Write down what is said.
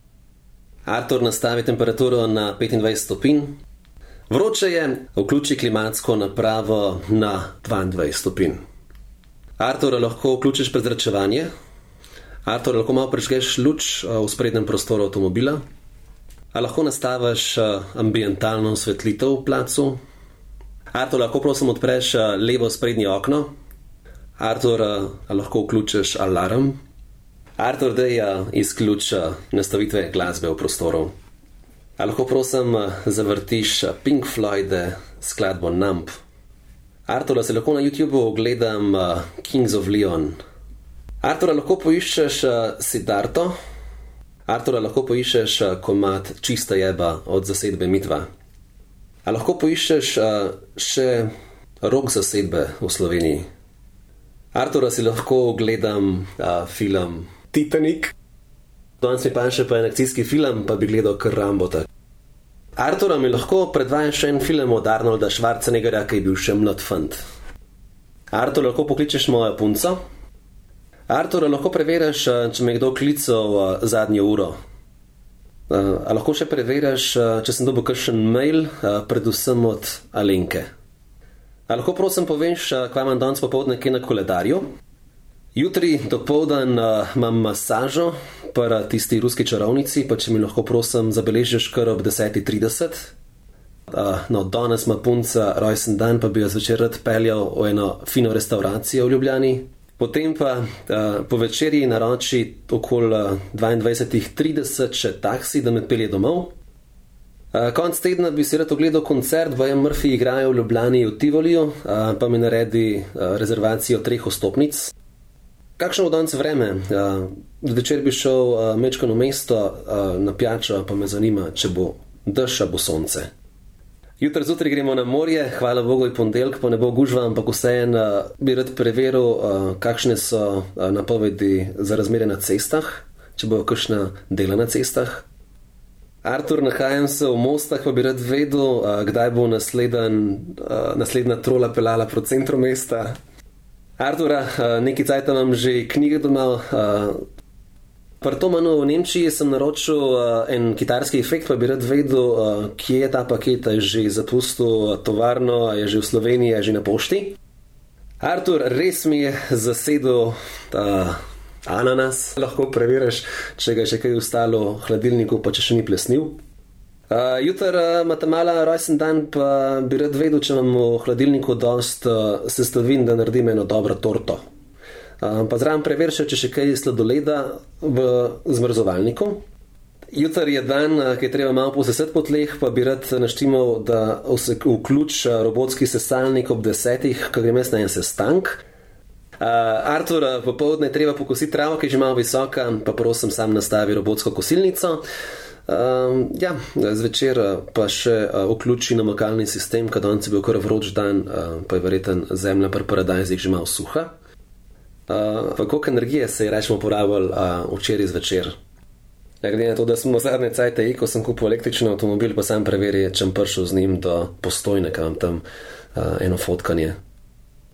Artur, nastavi temperaturo na petindvajset stopinj. Vroče je, vključi klimatsko napravo na dvaindvajset stopinj. Artur, a lahko vključiš prezračevanje? Artur, lahko malo prižgeš luč v sprednjem prostoru avtomobila. A lahko nastaviš, ambientalno osvetlitev v placu? Artur, lahko, prosim, odpreš levo sprednje okno? Artur, a lahko vključiš alarm? Artur, daj, izključi, nastavitve glasbe v prostoru. A lahko, prosim, zavrtiš Pink Floyde skladbo Numb? Artur, a si lahko na Youtubu ogledam, Kings of Lion? Artur, a lahko poiščeš, Siddharto? Artur, a lahko poiščeš komad Čista jeba od zasedbe Midva? A lahko poiščeš še rock zasedbe v Sloveniji? Artur, a si lahko ogledam, film Titanik? Danes mi paše pa akcijski film pa bi gledal kar Rambota. Artur, a mi lahko predvajaš en film od Arnolda Schwarzeneggerja, ko je bil še mlad fant? Artur, lahko pokličeš mojo punco? Artur, a lahko preveriš, če me je kdo klical, zadnjo uro? a lahko še preveriš, če sem dobil kakšen mail, predvsem od Alenke? A lahko, prosim, poveš, kva imam danes popoldne kaj na koledarju? Jutri, dopoldan, imam masažo pri, tisti ruski čarovnici, pa če mi lahko, prosim, zabeležiš kar ob desetih trideset? no, danes ima punca rojstni dan pa bi jo zvečer rad peljal v eno fino restavracijo v Ljubljani. Potem pa, po večerji naroči, okoli, dvaindvajsetih trideset še taksi, da me pelje domov. konec tedna bi si rad ogledal koncert, baje Mrfyji igrajo v Ljubljani v Tivoliju, pa mi naredi, rezervacijo treh vstopnic. Kakšno bo danes vreme, Zvečer bi šel, majčkeno v mesto, na pijačo pa me zanima, če bo dež ali bo sonce? Jutri zjutraj gremo na morje, hvala bogu je ponedeljek pa ne bo gužva, ampak vseeno, bi rad preveril, kakšne so, napovedi za razmere na cestah. Če bo kakšno delo na cestah? Artur, nahajam se v Mostah pa bi rad izvedel, kdaj bo naslednji, naslednja trola peljala proti centru mesta? Artur, nekaj cajta imam že knjige doma, Pri Thomannu v Nemčiji sem naročil, en kitarski efekt, pa bi rad vedel, kje je ta paket? A je že zapustil tovarno, a je že v Sloveniji, a je že na pošti? Artur, res mi je zasedel, ananas, lahko preveriš, če ga je še kaj ostalo v hladilniku pa če še ni plesniv? jutri, ima ta mala ima rojstni dan pa bi rad izvedel, če imam v hladilniku dosti, sestavin, da naredim eno dobro torto? pa zraven preveri še, če še kaj sladoleda v zmrzovalniku. Jutri je dan, ke je treba malo posesati po tleh pa bi rad naštimal, da se vključi, robotski sesalnik ob desetih, ke grem jaz na en sestanek. Artur, popoldne je treba pokositi travo, ker je že malo visoka, pa prosim, sam nastavi robotsko kosilnico. ja, zvečer, pa še vključi namakalni sistem, ke danes je bil kar vroč dan, pa je verjetno zemlja pri paradajzih že malo suha. koliko energije se je recimo porabilo, včeraj zvečer? glede na to, da sem zadnje cajte eko, sem kupil električni avtomobil pa samo preveri, če bom prišel z njim do Postojne, ker imam tam, eno fotkanje.